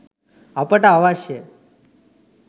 අපට අවශ්‍ය